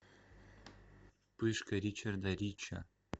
пышка ричарда рича